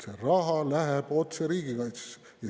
See raha läheb otse riigikaitsesse.